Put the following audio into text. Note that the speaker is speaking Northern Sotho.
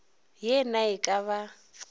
ye na e ka ba